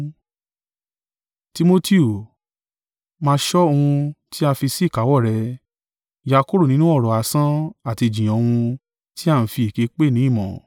Timotiu, máa ṣọ ohun tí a fi sí ìkáwọ́ rẹ, yà kúrò nínú ọ̀rọ̀ asán àti ìjiyàn ohun tí a ń fi èké pè ni ìmọ̀;